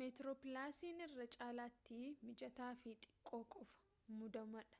meetiroopilaasin irra caalaatti mijataa fi xiqqoo qofa muddamaadha